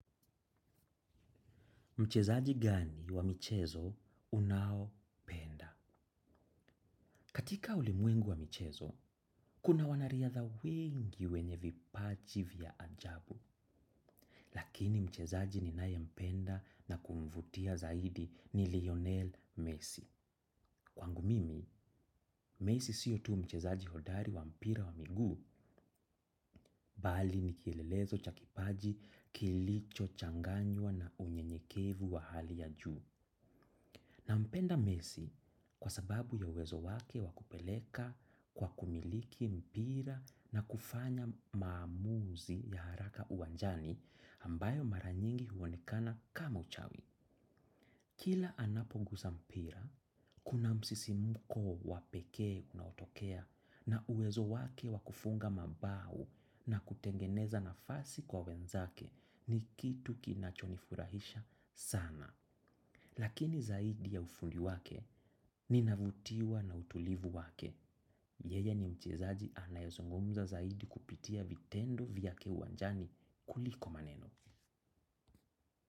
Mchezaji gani wa michezo unaopenda? Katika ulimwengu wa michezo, kuna wanariadha wengi wenye vipaji vya ajabu. Lakini mchezaji ninaye mpenda na kumvutia zaidi ni Lionel Messi. Kwangu mimi, Messi siyo tu mchezaji hodari wa mpira wa miguu, bali ni kielelezo cha kipaji kilicho changanywa na unyenyekevu wa hali ya juu. Nampenda Messi kwa sababu ya uwezo wake wa kupeleka kwa kumiliki mpira na kufanya maamuzi ya haraka uwanjani ambayo mara nyingi huonekana kama uchawi. Kila anapo guza mpira, kuna msisimko wa pekee unaotokea na uwezo wake wa kufunga mabao na kutengeneza nafasi kwa wenzake ni kitu kinachonifurahisha sana. Lakini zaidi ya ufundi wake ni navutiwa na utulivu wake. Yeye ni mchezaji anayezungumza zaidi kupitia vitendo vyake uwanjani kuliko maneno.